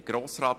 der BaK.